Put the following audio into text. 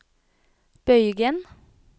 bøygen